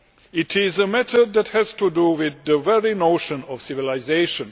It is a matter that has to do with the very notion of civilisation.